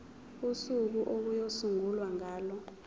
usuku okuyosungulwa ngalo